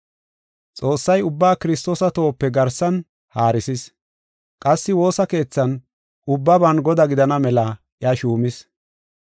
Xoossay ubba Kiristoosa tohope garsan haarisis; qassi woosa keethan, ubbaban Godaa gidana mela iya shuumis.